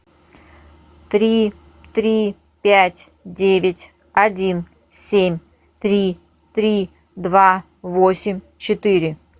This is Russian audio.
три три пять девять один семь три три два восемь четыре